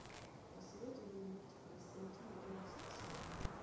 посоветуй мне мультик константин одиннадцатый сезон